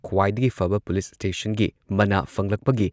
ꯈ꯭ꯋꯥꯏꯗꯒꯤ ꯐꯕ ꯄꯨꯂꯤꯁ ꯁ꯭ꯇꯦꯁꯟꯒꯤ ꯃꯅꯥ ꯐꯪꯂꯛꯄꯒꯤ